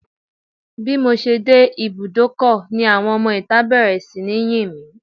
Bímọ ṣe dé ibúdókọ̀ ni àwọn ọmọ ìta bẹ̀rẹ̀ sí ní yìn mí